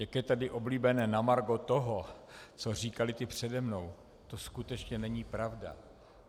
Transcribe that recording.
Jak je tady oblíbené, na margo toho, co říkali ti přede mnou - to skutečně není pravda.